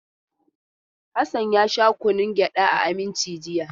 Hassan ya sha kunnun gyada a Aminci jiya.